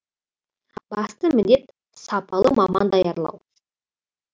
басты міндет сапалы маман даярлау